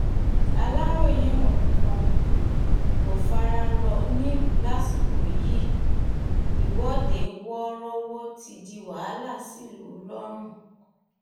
aláròye nǹkan um kò fara rọ nílùú lásìkò yìí ìwọ́de wọ́ọ́rọ́wọ́ ti di wàhálà sílùú lọ́run